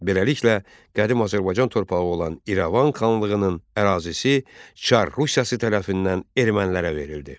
Beləliklə qədim Azərbaycan torpağı olan İrəvan xanlığının ərazisi Çar Rusiyası tərəfindən ermənilərə verildi.